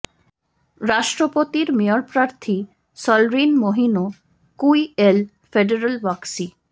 রাষ্ট্রপতির মেয়র প্রার্থী সলরিন মাইিনো কুই এল ফেডারাল ওয়াক্সী